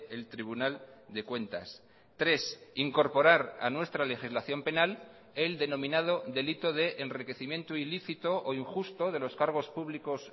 el tribunal de cuentas tres incorporar a nuestra legislación penal el denominado delito de enriquecimiento ilícito o injusto de los cargos públicos